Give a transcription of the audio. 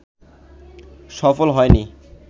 সফল হয়নি